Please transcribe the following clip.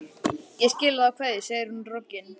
Ég skila þá kveðju, segir hún roggin.